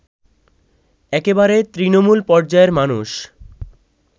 একেবারে তৃণমূল পর্যায়ের মানুষ